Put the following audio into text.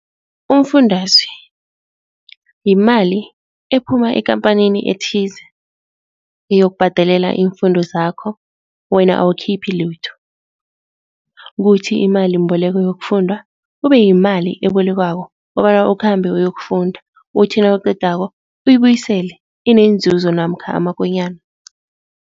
Umfundaze, yimali ephuma ekampanini ethize yokubhadelela iimfundo zakho wena awukhiphi litho. Kuthi imalimboleko yokufunda kube yimali ebolekwako kobana ukhambe uyokufunda uthi nawuqedako uyibuyisele inenzuzo namkha amakonyana.